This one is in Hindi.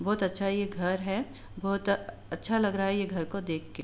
बहुत अच्छा ये घर है बहुत अच्छा लग रहा है ये घर को देख के --